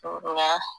O la